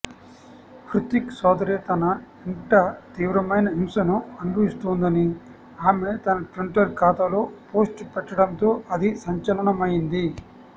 హృతిక్ సోదరి తన ఇంట తీవ్రమైన హింసను అనుభవిస్తోందని ఆమె తన ట్విట్టర్ ఖాతాలో పోస్ట్ పెట్టడంతో అది సంచలనమైంది